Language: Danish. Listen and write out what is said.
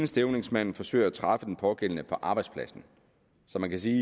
stævningsmanden forsøger at træffe den pågældende på arbejdspladsen så man kan sige